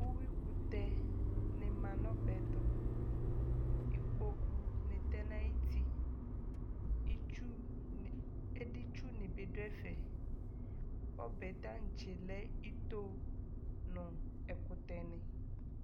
Uwi kutɛ nɛ maă nu ɔbɛtu Ikpokpu ni tɛ na ayiti Éditsu ni bi du ɛfɛ Ɔbɛ tãtsé lɛ itò Nu ɛkutɛni